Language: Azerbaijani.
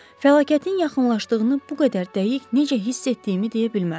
Fəlakətin yaxınlaşdığını bu qədər dəqiq necə hiss etdiyimi deyə bilmərəm.